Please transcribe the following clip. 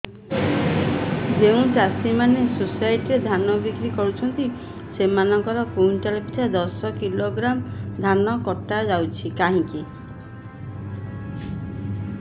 ଯେଉଁ ଚାଷୀ ମାନେ ସୋସାଇଟି ରେ ଧାନ ବିକ୍ରି କରୁଛନ୍ତି ସେମାନଙ୍କର କୁଇଣ୍ଟାଲ ପିଛା ଦଶ କିଲୋଗ୍ରାମ ଧାନ କଟା ଯାଉଛି କାହିଁକି